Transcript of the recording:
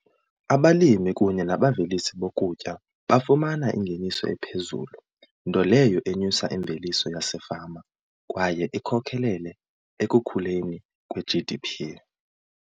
Abalimi kunye nabavelisi bokutya bafumana ingeniso ephezulu nto leyo enyusa imveliso yasefama kwaye ikhokelele ekukhuleni kwe-G_D_P.